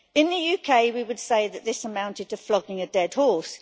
In the UK, we would say that this amounted to flogging a dead horse.